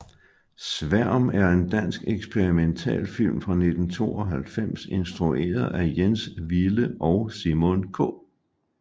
Sværm er en dansk eksperimentalfilm fra 1992 instrueret af Jens Wille og Simon K